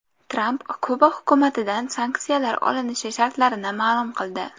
Tramp Kuba hukumatidan sanksiyalar olinishi shartlarini ma’lum qildi.